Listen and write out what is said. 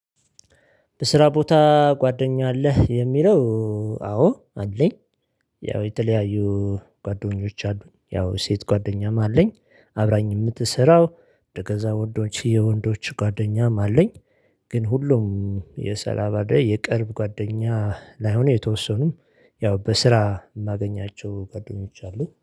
በስራ ቦታ ጓደኛ አለህ? የሚለው አዎ! አለኝ ያው የተለያዩ ጓደኞች አሉኝ። ያው ሴት ጓደኛም አለኝ አብራኝ የምትሰራው ከዛ ወንዶች የወንዶች ጓደኛም አለኝ። ግን ሁሉም የሰላባ ላይ የቅርብ ጓደኛ ላይሆን የተወሰኑ ያው በስራ የማገኛቸው ጓደኞዎች አሉ